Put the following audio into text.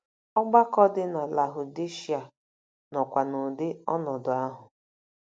Ọgbakọ dị na Lahụdishịa nọkwa n'ụdị ọnọdụ ahụ.